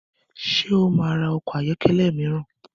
Ṣé ó máa ra ọkọ̀ ayọ́kẹ́lẹ́ mìíràn?